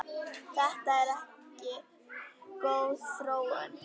Þetta er ekki góð þróun.